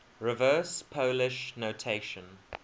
reverse polish notation